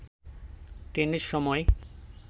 ট্রেনের সময়